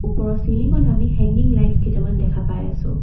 ওপৰত চিলিং ত আমি হেঙিং লাইট ছ কেইটামান দেখা পাই আছোঁ।